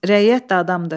Rəiyyət də adamdır.